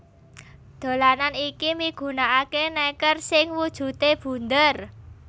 Dolanan iki migunakaké nèker sing wujudé bunder